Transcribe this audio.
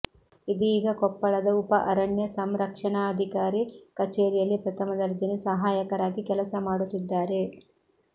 ಇದೀಗ ಕೊಪ್ಪಳದ ಉಪ ಅರಣ್ಯ ಸಂರಕ್ಷಣಾಧಿಕಾರಿ ಕಚೇರಿಯಲ್ಲಿ ಪ್ರಥಮದರ್ಜೆ ಸಹಾಯಕರಾಗಿ ಕೆಲಸ ಮಾಡುತ್ತಿದ್ದಾರೆ